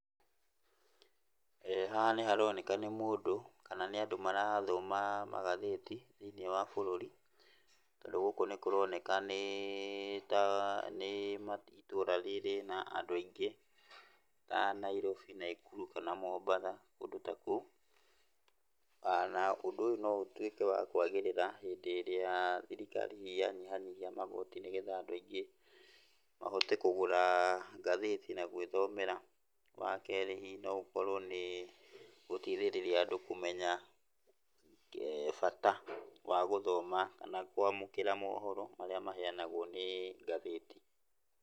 Haha nĩharoneka nĩ mũndũ kana nĩ andũ marathoma magathĩti, thĩiniĩ wa bũrũri, tondũ gũkũ nĩkũroneka nĩĩ ta nĩ itũra rĩrĩ na andũ aingĩ, a Nairobi, Naikuru kana Mombatha, kũndũ ta kũu. Na ũndũ ũyũ no ũtuĩke wa kwagĩrĩra hĩndĩ ĩrĩa thirikari yanyihanyihia magoti nĩgetha andũ aingĩ mahote kũgũra ngathĩti na gwĩthomera. Wakerĩ, hihi no ũkorwo nĩgũteithĩrĩria andũ kũmenya bata wa gũthoma na kwamũkĩra mohoro marĩa maheanagwo nĩ ngathĩti.